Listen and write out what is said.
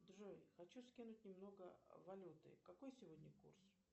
джой хочу скинуть немного валюты какой сегодня курс